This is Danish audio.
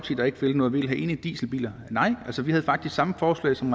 der ikke vil noget vi vil have ene dieselbiler nej vi havde faktisk samme forslag som